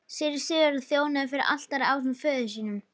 Síra Sigurður þjónaði fyrir altari ásamt föður sínum.